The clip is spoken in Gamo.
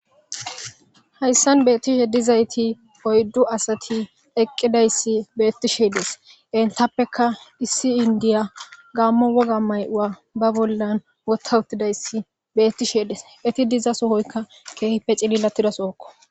hayssan beettishe dizayti oyddu asati eqqidayssi beettisheedes entappeka issi indiya gaammo woga may7ua ba bollan wotta uttidayssi beettisheedes eti diza sohoyka keehippe cililatidasookko